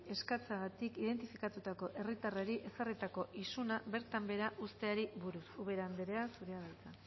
eskatzeagatik identifikatutako herritarrari ezarritako isuna bertan behera uzteari buruz ubera andrea zurea da hitza